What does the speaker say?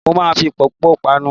Mo ma fi pọ́pọ̀ panu.